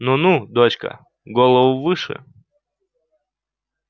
ну ну дочка голову выше